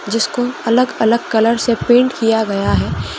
जिसको अलग-अलग कलर से प्रिन्ट किया गया है।